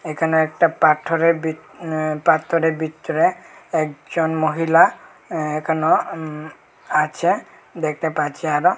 এখানে একটা পাথরের ভিত অ্যা পাথরের ভিতরে একজন মহিলা অ্যা এখনো উম আছে দেখতে পাচ্ছি আরো।